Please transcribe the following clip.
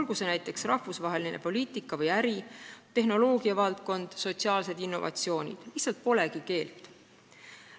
Toon näiteks rahvusvahelise poliitika või äri, tehnoloogiavaldkonna, sotsiaalsed innovatsioonid – lihtsalt polegi keelt.